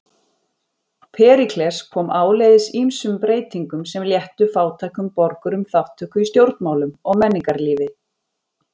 Períkles kom áleiðis ýmsum breytingum sem léttu fátækum borgurum þátttöku í stjórnmálum og menningarlífi.